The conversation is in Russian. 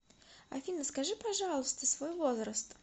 афина скажи пожалуйста свой возраст